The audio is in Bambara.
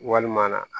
Walima